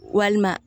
Walima